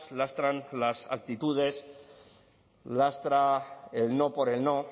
lastran las actitudes lastra el no por el no